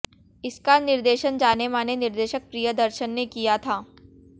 इसका निर्देशन जाने माने निर्देशक प्रियदर्शन ने किया था